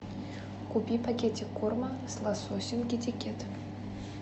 купи пакетик корма с лососем китикет